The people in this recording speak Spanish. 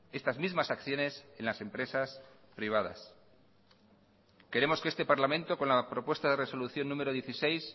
estas mismas acciones en las empresas privadas queremos que este parlamento con la propuesta de resolución número dieciséis